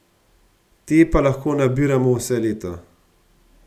Te pa lahko nabiramo vse leto.